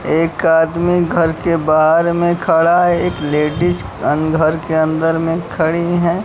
एक आदमी घर के बाहर में खड़ा एक लेडिस अं घर के अंदर में खड़ी हैं।